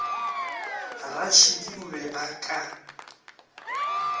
ratšhidi o be o ka